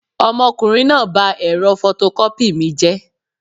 Ọmọkùnrin náà ba ẹ̀rọ fọtọkọ́pì mi jẹ́